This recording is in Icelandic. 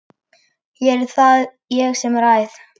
Hér er það ég sem ræð!